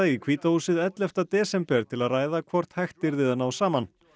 í hvíta húsið ellefta desember til að ræða hvort hægt yrði að ná saman